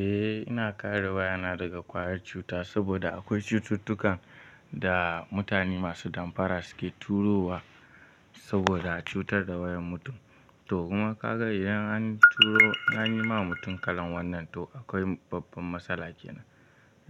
Eh, ina kare wayana daga ƙwayar cuta saboda akwai cututtukan da mutane masu damfara suke turo wa saboda a cutar da wayar mutum. To kuma ka ga idan an turo, an yi ma mutum kalan wannan, to akwai babban matsala kenan.